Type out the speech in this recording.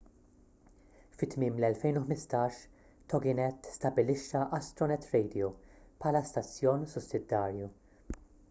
fi tmiem l-2015 toginet stabbilixxa astronet radio bħala stazzjon sussidjarju